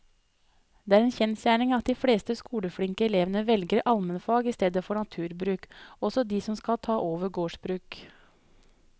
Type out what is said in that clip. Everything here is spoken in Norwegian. Det er en kjensgjerning at de fleste skoleflinke elevene velger allmennfag i stedet for naturbruk, også de som skal ta over gårdsbruk.